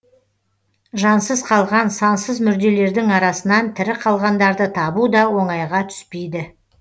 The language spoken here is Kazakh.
жансыз қалған сансыз мүрделердің арасынан тірі қалғандарды табу да оңайға түспейді